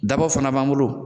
Dabaw fana b'an bolo.